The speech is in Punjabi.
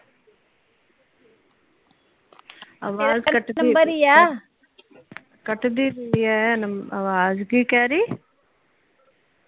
ਕਟਦੀ ਪਈ ਏ ਆਵਾਜ਼ ਕੀ ਕਹਿ ਰਹੀ?